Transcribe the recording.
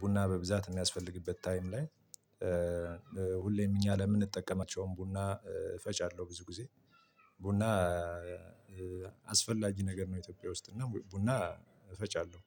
ቡና በብዛት የሚያስፈልግበት ታይም ላይም ሁሌም እኛ ለምንጠቀማቸውም ቡና እፈጫለሁ ብዙ ጊዜ ቡና አስፈላጊ ነገር ነው ኢትዮጵያ ውስጥ እና ቡና እፈጫለሁ።